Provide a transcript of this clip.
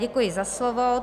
Děkuji za slovo.